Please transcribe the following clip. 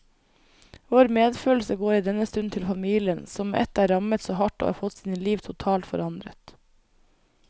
Vår medfølelse går i denne stund til familien, som med ett er rammet så hardt og har fått sine liv totalt forandret.